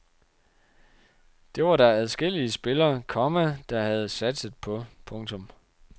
Det var der adskillige spillere, komma der havde satset på. punktum